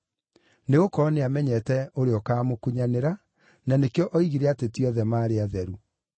Nĩgũkorwo nĩamenyete ũrĩa ũkaamũkunyanĩra, na nĩkĩo oigire atĩ ti othe maarĩ atheru.